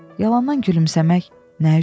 Yalandan gülümsəmək nə üçün?